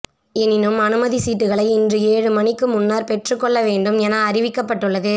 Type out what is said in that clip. எனினும் அனுமதி சீட்டுக்களை இன்று ஏழு மணிக்கு முன்னர் பெற்றுக்கொள்ள வேண்டும் என அறிவிக்கப்பட்டுள்ளது